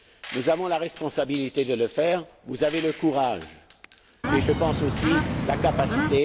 Nous avons la responsabilité de le faire, et vous en avez le courage et, je pense, aussi la capacité.